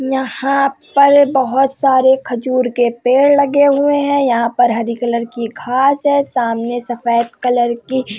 यहाँ पर बहोत सारे खजूर के पेड़ लगे हुए हैं। यहाँ पर हरी कलर की घास हैं। सामने सफ़ेद कलर की --